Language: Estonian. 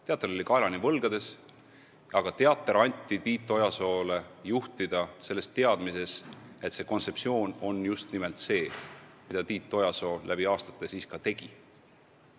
Teater oli kaelani võlgades, aga teater anti Tiit Ojasoole juhtida teadmises, et tema kontseptsioon on just nimelt see, mida Tiit Ojasoo läbi aastate ka tegi.